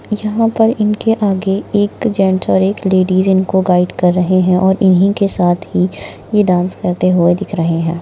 जहा पर इनके आगे एक जेन्ट्स और एक लेडीज इनको गाइड कर रहे है और इन्ही के साथ ही ये डान्स करते हुए दिख रहे है।